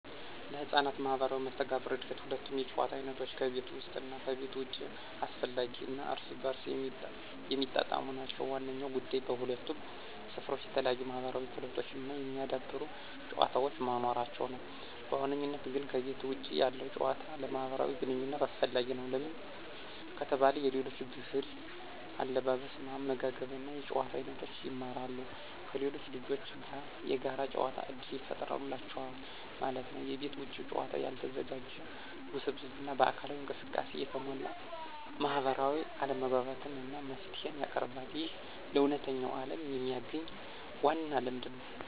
ለሕፃናት ማህበራዊ መስተጋብር እድገት ሁለቱም የጨዋታ አይነቶች (ከቤት ውስጥ እና ከቤት ውጭ) አስፈላጊ እና እርስ በርስ የሚጣጣሙ ናቸው። ዋናው ጉዳይ በሁለቱም ስፍራዎች የተለያዩ የማህበራዊ ክህሎቶችን የሚያዳብሩ ጨዋታዎች መኖራቸው ነው። በዋነኝነት ግን ከቤተ ውጭ ያለው ጭዋታ ለማህብራዊ ግንኝነት አሰፈላጊ ነው። ለምን ከተባለ የሌሎች ብህል አለባበስ አመጋገብ እና የጭዋታ አይኖቶችን ይማራሉ። ከሌሎች ልጆች ጋር የጋር ጨዋታ እድል ይፍጠሩላቸዋል ማለት ነው። የቤት ውጭ ጨዋታ ያልተዘጋጀ፣ ውስብስብ እና በአካላዊ እንቅስቃሴ የተሞላ ማህበራዊ አለመግባባትን እና መፍትሄን ያቀርባል። ይህ ለእውነተኛው ዓለም የሚያግኝ ዋና ልምድ ነው።